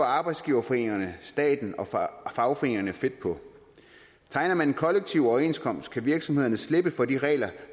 arbejdsgiverforeningerne staten og fagforeningerne fedt på tegner man en kollektiv overenskomst kan virksomhederne slippe for de regler